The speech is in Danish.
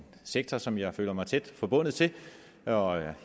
sektor som jeg føler mig meget tæt forbundet til og